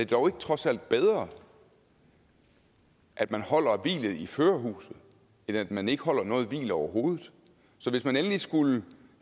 dog ikke trods alt bedre at man holder hvilet i førerhuset end at man ikke holder noget hvil overhovedet så hvis man endelig skulle